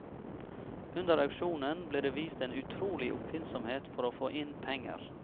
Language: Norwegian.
Under auksjonen ble det vist en utrolig oppfinnsomhet for å få inn penger.